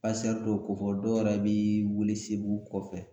dɔw ko kofɔ dɔw yɛrɛ bi welesebugu kɔfɛ.